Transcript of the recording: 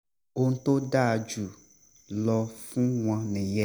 ohun tó dáa jù lọ fún wọn nìyẹn